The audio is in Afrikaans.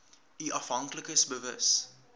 u afhanklikes bewus